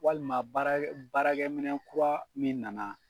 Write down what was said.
Walima baarakɛ baarakɛ minɛ kura min na na.